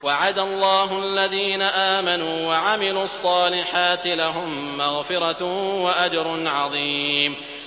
وَعَدَ اللَّهُ الَّذِينَ آمَنُوا وَعَمِلُوا الصَّالِحَاتِ ۙ لَهُم مَّغْفِرَةٌ وَأَجْرٌ عَظِيمٌ